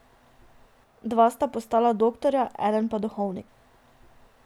Dva sta postala doktorja, eden pa duhovnik.